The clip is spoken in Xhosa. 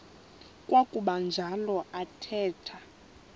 kwakuba njalo athetha